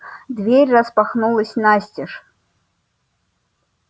дверь распахнулась настежь